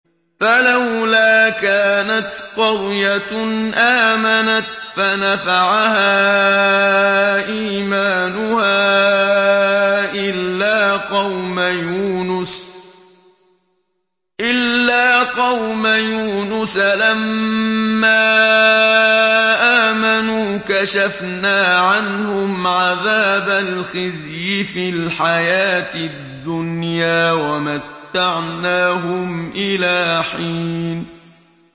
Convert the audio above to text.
فَلَوْلَا كَانَتْ قَرْيَةٌ آمَنَتْ فَنَفَعَهَا إِيمَانُهَا إِلَّا قَوْمَ يُونُسَ لَمَّا آمَنُوا كَشَفْنَا عَنْهُمْ عَذَابَ الْخِزْيِ فِي الْحَيَاةِ الدُّنْيَا وَمَتَّعْنَاهُمْ إِلَىٰ حِينٍ